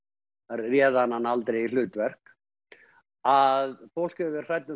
réð hann hana aldrei í hlutverk að fólk hefur verið hrætt um